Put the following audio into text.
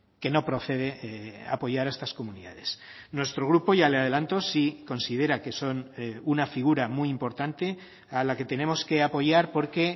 que no procede apoyar a estas comunidades nuestro grupo ya le adelanto sí considera que son una figura muy importante a la que tenemos que apoyar porque